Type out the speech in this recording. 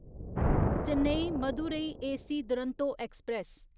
Chennai Madurai AC Duronto express